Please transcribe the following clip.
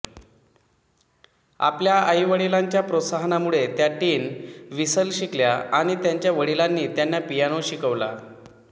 आपल्या आई वडीलांच्या प्रोत्साहनामुळे त्या टीन व्हिसल शिकल्या आणि त्यांच्या वडीलांनी त्यांना पियानो शिकवला